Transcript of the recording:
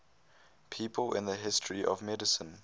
people in the history of medicine